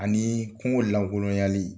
Ani kungo lankolonyali